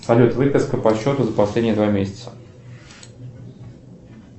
салют выписка по счету за последние два месяца